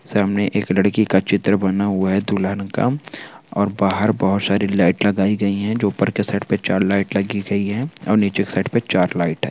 सामने एक लड़की का चित्र बना हुआ है दुल्हन का और बाहर बहुत सारी लाइट लगाई गयी हैं। जो उपर के साइड पे चार लाइट लगी गयी हैं और नीचे के साइड पे चार लाइट है।